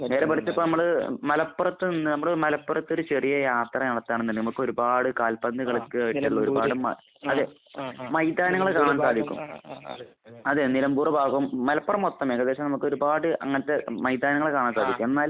നേരെ മറിച്ച് ഇപ്പോൾ നമ്മൾ മലപ്പുറത്ത് നിന്ന് നമ്മൾ മലപ്പുറത്ത് ഒരു ചെറിയ യാത്ര നടത്തുകയാണെന്നുണ്ടെങ്കിൽ നമുക്ക് ഒരുപാട് കാൽപ്പന്ത് കളി ഒരുപാട് അതെ. മൈദാനങ്ങൾ കാണാൻ സാധിക്കും. അതെ. നിലമ്പൂർ ഭാഗം. മലപ്പുറം മൊത്തം. ഏകദേശം നമുക്ക് ഒരുപാട് അങ്ങനത്തെ മൈദാനങ്ങൾ കാണാൻ സാധിക്കും. എന്നാൽ